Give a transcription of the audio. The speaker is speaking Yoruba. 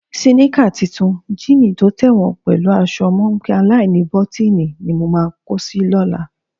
Síníkà tuntun, jíìnì tó tẹ̀wọ̀n pẹ̀lú aṣọ mọ́ńpé aláìníbọ́tíìnì ni mo máa kó si lọ́la.